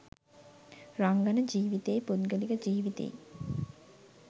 රංගන ජීවිතෙයි පුද්ගලික ජීවිතෙයි